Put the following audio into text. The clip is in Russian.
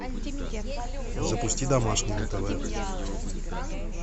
запусти домашний на тв